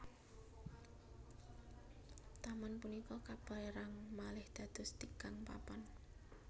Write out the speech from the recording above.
Taman punika kapérang malih dados tigang papan